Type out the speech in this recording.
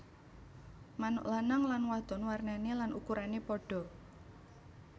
Manuk lanang lan wadon warnané lan ukurané padha